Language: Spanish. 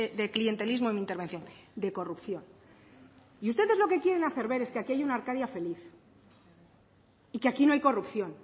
de clientelismo en mi intervención de corrupción y ustedes lo que quieren hacer ver es que aquí hay una arcadia feliz y que aquí no hay corrupción